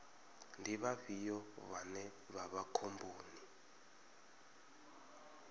ndi vhafhio vhane vha vha khomboni